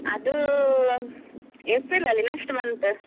ಅದು ಒಂದ್~ ಏಪ್ರಿಲಲ್ಲಿ next month .